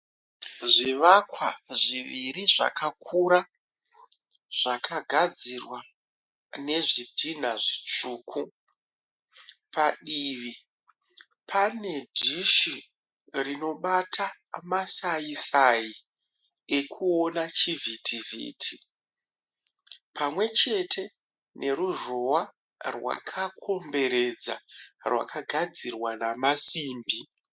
Zvivakwa zviviri zvakakura zvakagadzirwa nezvidhinha zvitsvuku. Padivi pane dhishi rinobata masaisai ekuona chivhitivhiti pamwe chete neruzhowa rwakakomberedza rwakagadzirwa namasimbi.